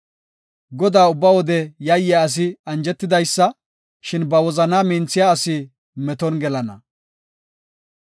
Godaa ubba wode yayiya asi anjetidaysa; shin ba wozana minthiya asi meton gelana.